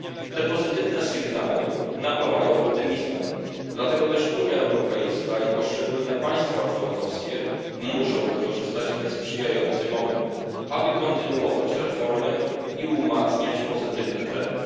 Te pozytywne sygnały napawają optymizmem, dlatego też Unia Europejska i poszczególne państwa członkowskie muszą wykorzystać ten sprzyjający moment, aby kontynuować reformy i umacniać pozytywny trend.